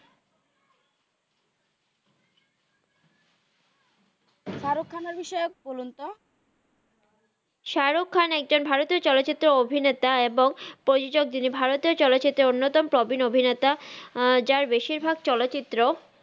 সারুক খানের বিষয়ে বলুন তো সারুক খান একজন ভারতিও চলচিরতের অভিনেতা এবং প্রজজক জিনি ভারতিও চলচিত্রের অন্নতম প্রবিন অভিনেতা জার বেসির ভাগ চলচিত্র